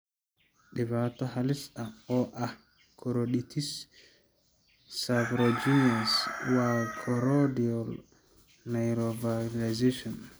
Dhibaato halis ah oo ah koroiditis serpiginous waa choroidal neovascularization.